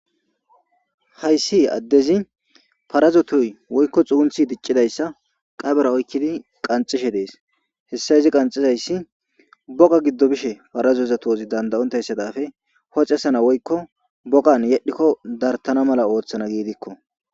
hayssi addezi parazo tuy woykko xuunthi diccidayssa qabera oykkidi qanxishe dees hessa izi qanxizayssi boga giddo bishe parazozatoozi danda7ontayssadafe hoxesana woykko bogan yedhikko dartana mala ooththana giidikko